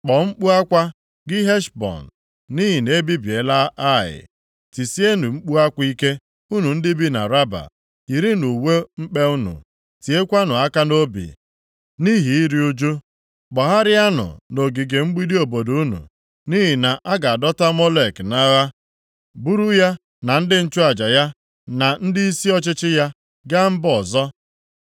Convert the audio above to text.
“Kpọọ mkpu akwa, gị Heshbọn, nʼihi na ebibiela Ai! Tisienụ mkpu akwa ike unu ndị bi na Raba! Yirinụ uwe mkpe unu, tiekwanụ aka nʼobi nʼihi iru ụjụ; gbagharịanụ nʼogige mgbidi obodo unu, nʼihi na a ga-adọta Molek nʼagha, buru ya na ndị nchụaja ya na ndịisi ọchịchị ya gaa mba ọzọ.